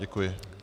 Děkuji.